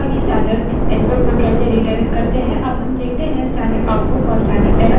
अब देखते हैं कि standard output और standard error को कैसे redirect करें